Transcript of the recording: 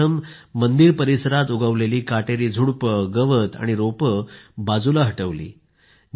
त्यांनी मंदिर परिसरात उगवलेली काटेरी झुडपे गवत आणि रोपं बाजूला हटवली